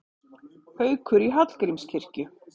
Haukur í Hallgrímskirkju